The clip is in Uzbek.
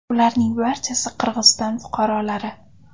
Ularning barchasi Qirg‘iziston fuqarolari.